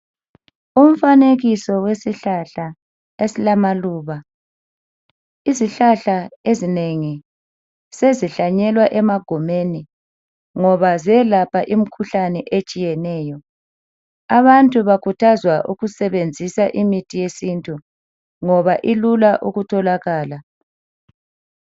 Umfanekiso wesihlahla esilamaluba. Izihlahla ezinengi sezihlanyelwa emagumeni ngoba ziyelapha imkhuhlane etshiyeneyo. Abantu bakhuthazwa ukusebenzisa imithi yesintu ngoba ilula ukutholakala